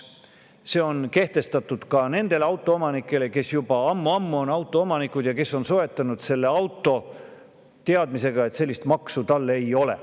See on kehtestatud ka nendele, kes juba ammu-ammu on autoomanikud ja kes on soetanud auto teadmisega, et sellist maksu ei ole.